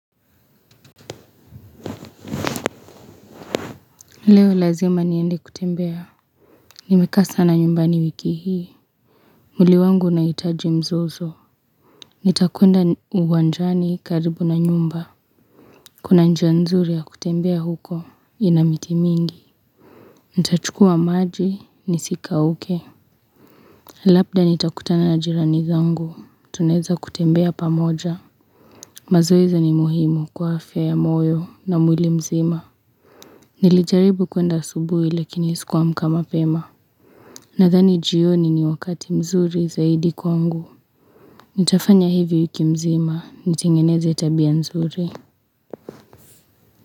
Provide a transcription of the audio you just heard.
Leo lazima niende kutembea. Nimekasa na nyumbani wiki hii. Muli wangu unaitaji mzozo. Nitakuenda uwanjani karibu na nyumba. Kuna njia nzuri ya kutembea huko. Inamiti mingi. Nitachukua maji ni sika uke. Lapda nitakutana na jirani zangu. Tuneza kutembea pamoja. Mazweza ni muhimu kwa afya ya moyo na mwili mzima. Nilijaribu kuenda subui lakini isikuwa mkama pema. Na thani juyo nini wakati mzuri zaidi kwa ngu. Nitafanya hivi uki mzima. Nitingeneze tabia mzuri.